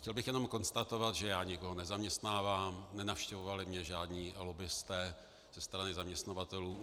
Chtěl bych jenom konstatovat, že já nikoho nezaměstnávám, nenavštěvovali mě žádní lobbisté ze strany zaměstnavatelů.